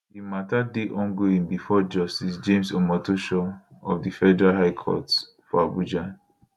di mata dey ongoing bifor justice james omotosho of di federal high court for abuja